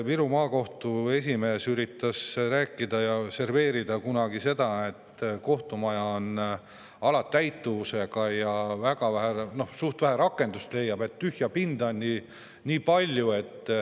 Viru Maakohtu esimees üritas kunagi serveerida seda nii, et kohtumaja on alatäitumusega ja leiab suht vähe rakendust, tühja pinda on palju.